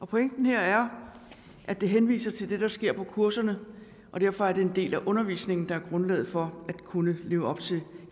pointen her er at det henviser til det der sker på kurserne og derfor er det en del af undervisningen der er grundlaget for at kunne leve op til